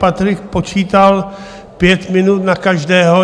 Patrik počítal pět minut na každého.